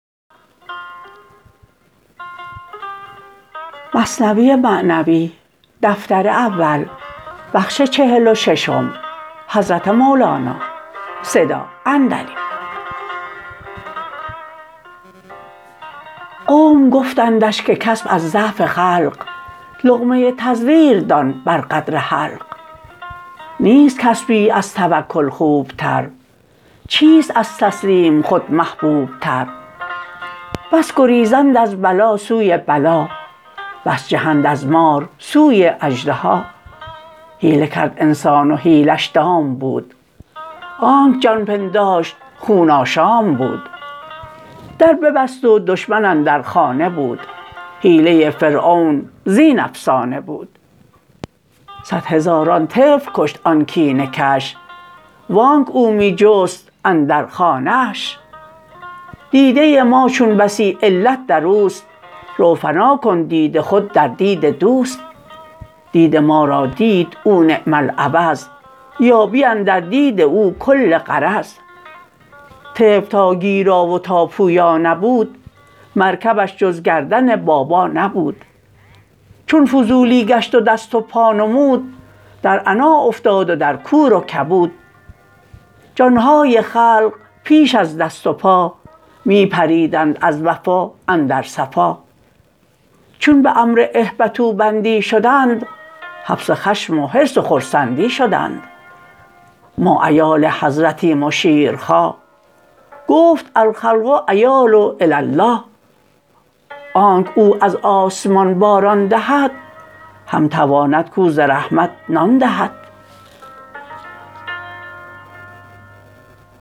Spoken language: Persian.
قوم گفتندش که کسب از ضعف خلق لقمه تزویر دان بر قدر حلق نیست کسبی از توکل خوب تر چیست از تسلیم خود محبوب تر بس گریزند از بلا سوی بلا بس جهند از مار سوی اژدها حیله کرد انسان و حیله ش دام بود آنک جان پنداشت خون آشام بود در ببست و دشمن اندر خانه بود حیله فرعون زین افسانه بود صد هزاران طفل کشت آن کینه کش وانک او می جست اندر خانه اش دیده ما چون بسی علت دروست رو فنا کن دید خود در دید دوست دید ما را دید او نعم العوض یابی اندر دید او کل غرض طفل تا گیرا و تا پویا نبود مرکبش جز گردن بابا نبود چون فضولی گشت و دست و پا نمود در عنا افتاد و در کور و کبود جان های خلق پیش از دست و پا می پریدند از وفا اندر صفا چون به امر اهبطوا بندی شدند حبس خشم و حرص و خرسند ی شدند ما عیال حضرتیم و شیر خواه گفت الخلق عیال للاله آنک او از آسمان باران دهد هم تواند کاو ز رحمت نان دهد